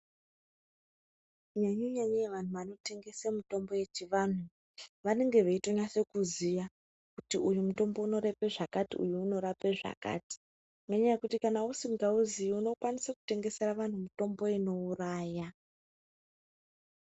Nyanyenyai vanhu vanotengese mitombo yechivanhu vanenge veitonatse kuziya kuti uyu mutombo unorapa zvakati uyu unorapa zvakati nenyaya yekuti kana usingamuzivi unokwanisire kutengesera vanhu mutombo unouraya .